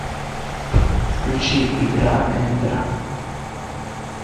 включи игра эндера